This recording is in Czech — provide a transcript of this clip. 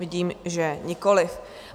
Vidím, že nikoliv.